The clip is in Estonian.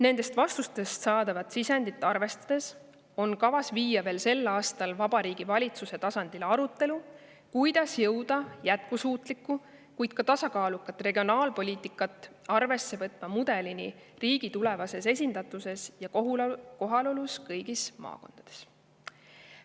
Nendest vastustest saadavat sisendit arvestades on kavas viia veel sel aastal Vabariigi Valitsuse tasandile arutelu, kuidas jõuda jätkusuutlikku, kuid ka tasakaalukat regionaalpoliitikat arvesse võtva mudelini riigi tulevases esindatuses ja kohalolus kõigis maakondades.